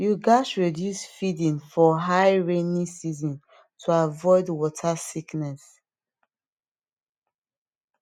you gat reduce feeding for high rainy season to avoid water sickness